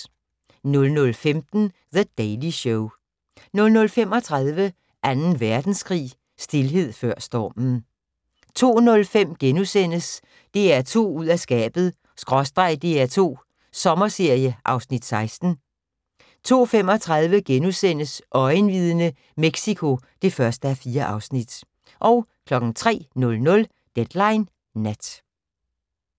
00:15: The Daily Show 00:35: 2. verdenskrig – Stilhed før stormen 02:05: DR2 ud af skabet/ DR2 Sommerserie (Afs. 16)* 02:35: Øjenvidne: Mexico (1:4)* 03:00: Deadline Nat